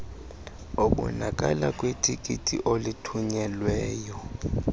obonakala kwitikiti olithunyelweyo